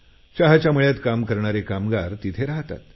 चहाच्या मळ्यात काम करणारे कामगार तिथे राहतात